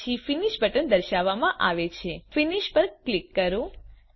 પછી finish button દર્શાવવામાં આવે છે ફિનિશ પર ક્લિક કરો